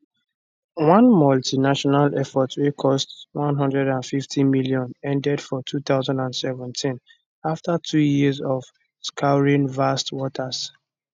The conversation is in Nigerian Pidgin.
one multinational effort wey cost 150m ended for 2017 afta two years of scouring vast waters